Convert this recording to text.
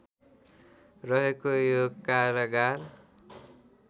रहेको यो कारागार